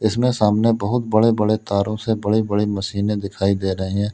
इसमें सामने बहुत बड़े बड़े तारों से बड़ी बड़ी मशीनें दिखाई दे रही हैं।